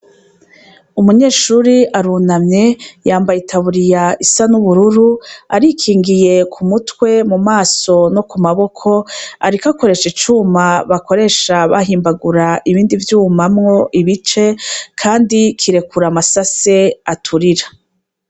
Umunyeshure arunamye yambaye itaburiya isa n'ubururu arikingiye ku mutwe, ku maso no ku maboko ariko akoresha icuma bakoresha bahimbagura ibindi vyuma mwo ibice kandi kirekura amasase aturira.